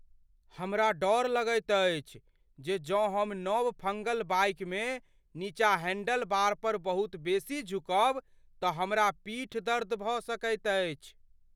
हमरा डर अछि जे जँ हम नव फंगल बाइकमे नीचा हैंडलबार पर बहुत बेसी झुकब तऽ हमरा पीठदर्द भऽ सकैत अछि।